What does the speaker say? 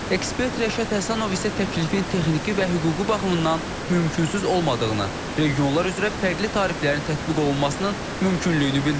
Ekspert Rəşad Həsənov isə təklifin texniki və hüquqi baxımından mümkünsüz olmadığını, regionlar üzrə fərqli tariflərin tətbiq olunmasının mümkünlüyünü bildirir.